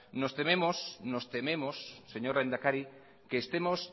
nos tememos señor lehendakari que estemos